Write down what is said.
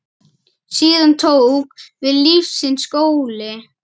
Síðan tók við lífsins skóli.